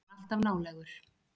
Hann er alltaf nálægur.